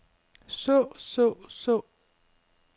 så så så